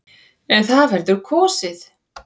En það verður kosið.